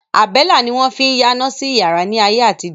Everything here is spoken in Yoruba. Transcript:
Àbẹ́lá ni wọ́n fín yáná sí yàrá ni ayé àtijọ́.